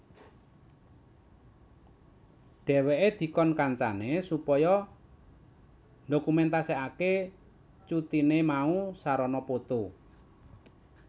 Dheweke dikon kancane supaya ndokumentaseake cutine mau sarana poto